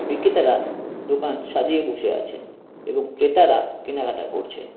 বিক্রেতারা দোকান সাজিয়ে বসে আছেন এবং ক্রেতারা কেনাকাটা করছেন।